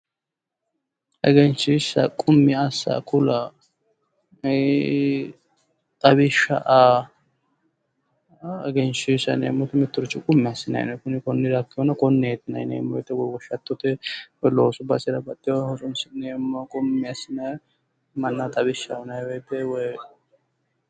Egenshshiishsha qummi assa ku'la, xawishsha aa yinneemmo, mittoricho qummi assineemmo ,konnira hatto woshshattote loosu basera qummi assinanni xawishshaho.